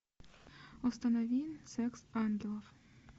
установи секс ангелов